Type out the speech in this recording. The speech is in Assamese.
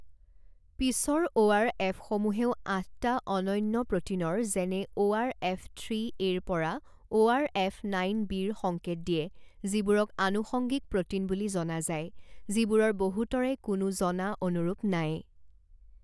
পিছৰ অ' আৰ এফসমূহেও আঠটা অনন্য প্ৰ'টিনৰ যেনে অ' আৰ এফ থ্ৰি এৰ পৰা অ'আৰএফ নাইন বিৰ সংকেত দিয়ে যিবোৰক আনুষংগিক প্ৰ'টিন বুলি জনা যায় যিবোৰৰ বহুতৰে কোনো জনা অনুৰূপ নাই।